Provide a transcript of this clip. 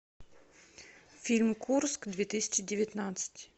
фильм курск две тысячи девятнадцать